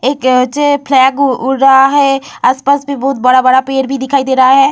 एक ऊँचे फ्लैग उ उड़ रहा है आसपास में बहुत बड़ा-बड़ा पेड़ भी दिखाई दे रहा है।